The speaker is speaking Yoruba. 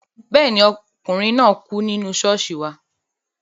Bẹ́ẹ̀ ni, ọkùnrin náà kú nínú ṣọ́ọ̀ṣì wa